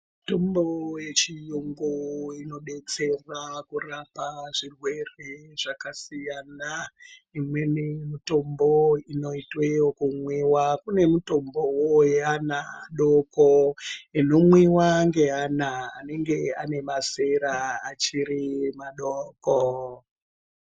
Mutombo wechiyungu unobetsera kurapa zvirwere zvakasiyana imweni mitombo inoitwe yekumwiwa kunemutombo weana adoko inomwiwa ngeana anenge anemazera achiri madoko